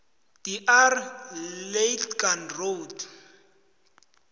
dr lategan road